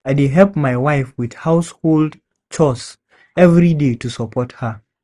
I dey help my wife with household chores every day to support her.